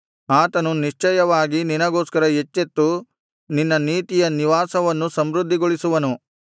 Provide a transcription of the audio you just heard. ಆತನು ನಿಶ್ಚಯವಾಗಿ ನಿನಗೋಸ್ಕರ ಎಚ್ಚೆತ್ತು ನಿನ್ನ ನೀತಿಯ ನಿವಾಸವನ್ನು ಸಮೃದ್ಧಿಗೊಳಿಸುವನು